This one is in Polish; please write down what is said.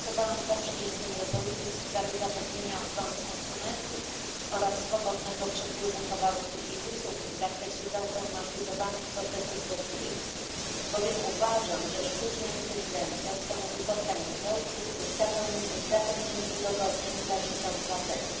Głosowałam za przyjęciem rezolucji w sprawie zapewnienia ochrony konsumentów oraz swobodnego przepływu towarów i usług w zakresie zautomatyzowanych procesów decyzyjnych, bowiem uważam, że sztuczna inteligencja stanowi potencjał w zapewnieniu udogodnień dla życia obywateli.